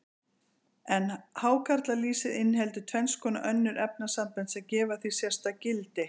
En hákarlalýsið inniheldur tvenns konar önnur efnasambönd, sem gefa því sérstakt gildi.